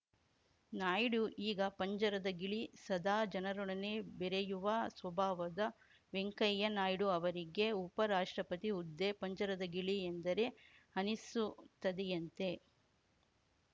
ನಾಯ್ಡು ಈಗ ಪಂಜರದ ಗಿಳಿ ಸದಾ ಜನರೊಡನೆ ಬೆರೆಯುವ ಸ್ವಭಾವದ ವೆಂಕಯ್ಯ ನಾಯ್ಡು ಅವರಿಗೆ ಉಪ ರಾಷ್ಟ್ರಪತಿ ಹುದ್ದೆ ಪಂಜರದ ಗಿಳಿ ಎಂದರೆ ಅನ್ನಿಸುತ್ತದೆಯಂತೆ